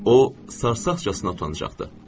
O sarsaqcasına utancağdı.